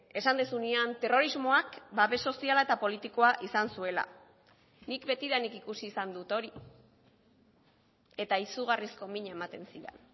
esan duzunean terrorismoak babes soziala eta politikoa izan zuela nik betidanik ikusi izan dut hori eta izugarrizko mina ematen zidan